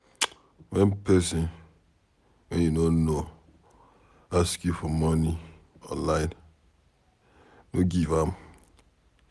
Wen pesin wey you no know ask you for money online, no give am.